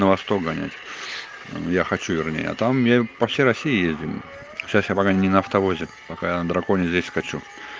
на восток гонять я хочу вернее а там я по всей россии ездим сейчас я пока не на автовозе пока на драконе здесь хочу